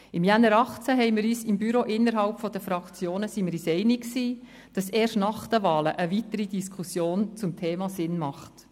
Im Januar 2018 waren wir uns im Büro über die Fraktionen hinweg einig, dass eine weitere Diskussion zum Thema erst nach den Wahlen Sinn macht.